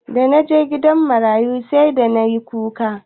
Da naje gidan marayu sai da nayi kuka.